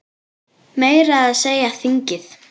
Meira að segja þingið!